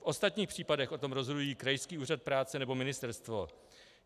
V ostatních případech o tom rozhodují krajský úřad práce nebo ministerstvo.